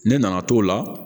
Ne nana to la